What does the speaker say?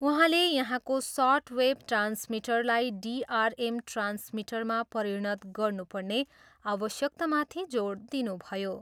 उहाँले यहाँको सर्टवेभ ट्रान्समिटरलाई डिआरएम ट्रान्समिटरमा परिणत गर्नुपर्ने आवश्यकतामाथि जोड दिनुभयो।